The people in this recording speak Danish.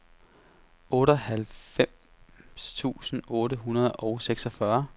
otteoghalvfems tusind otte hundrede og seksogfyrre